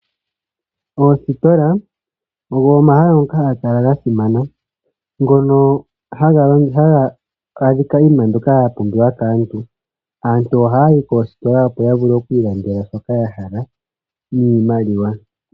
Oositola ogo omahala ngoka haga kala ga simana. Ngono haga adhika iinima mbyoka ya pumbiwa kaantu. Aantu oha yayi koositola opo ya vule oku ilandela shoka ya hala niimaliwa.